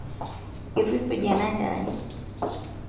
itu isuji ena kerai